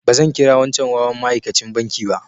Ba zan kira wancan wawan maikachin banki ba.